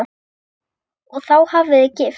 Og þá hafið þið gifst?